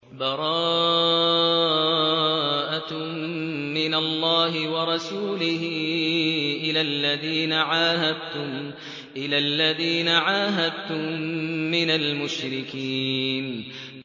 بَرَاءَةٌ مِّنَ اللَّهِ وَرَسُولِهِ إِلَى الَّذِينَ عَاهَدتُّم مِّنَ الْمُشْرِكِينَ